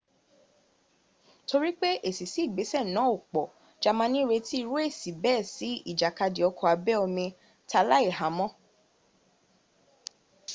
torí pé èsì sí ìgbésẹ̀ náà ò pọ̀ jamani retí irú èsì bẹ́ẹ̀ sí ìjàkadì ọkọ̀ abẹ́ omi t'aláìhámọ